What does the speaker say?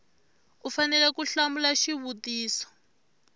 u fanele ku hlamula xivutiso